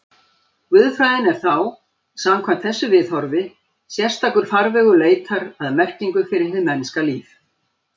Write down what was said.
Guðfræðin er þá, samkvæmt þessu viðhorfi, sérstakur farvegur leitar að merkingu fyrir hið mennska líf.